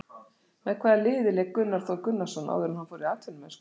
Með hvaða liði lék Gunnar Þór Gunnarsson áður en hann fór í atvinnumennsku?